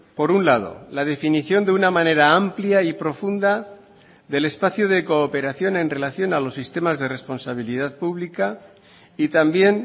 por un lado la definición de una manera amplia y profunda del espacio de cooperación en relación a los sistemas de responsabilidad pública y también